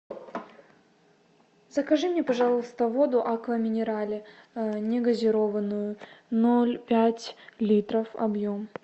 закажи мне пожалуйста воду аква минерале негазированную ноль пять литров объем